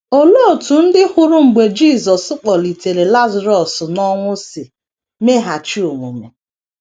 Olee otú ndị hụrụ mgbe Jisọs kpọlitere Lazarọs n’ọnwụ si meghachi omume?